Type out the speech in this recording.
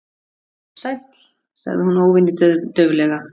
Sæll- sagði hún óvenju dauflega.